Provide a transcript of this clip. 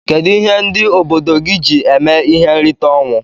Kedu ihe ndi obodo gi ji eme ihe nrita onwụ?